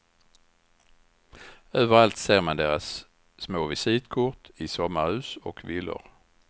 Överallt ser man deras små visitkort i sommarhus och villor.